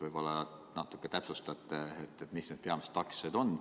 Võib-olla te natuke täpsustate, mis need peamised takistused on.